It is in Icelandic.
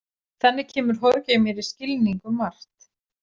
Þannig kemur Jorge mér í skilning um margt.